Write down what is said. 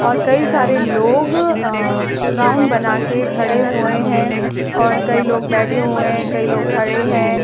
और कई सारे लोग अ राउंड बनाके खड़े हुए हैं और कई लोग बैठे हुए हैं। कई लोग खड़े हैं।